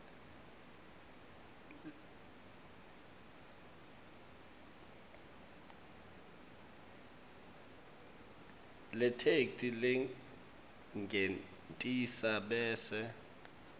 letheksthi lengentasi bese